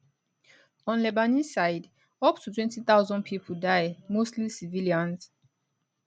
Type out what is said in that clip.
on lebanese side up to 20000 pipo die mostly civilians